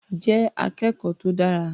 Jẹ́ akẹ́kọ̀ọ́ tó dára.